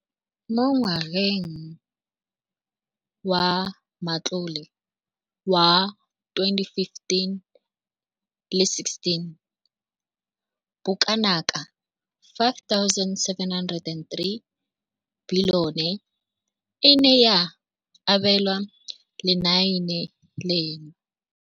Mo ngwageng wa matlole wa 2015,16, bokanaka R5 703 bilione e ne ya abelwa lenaane leno.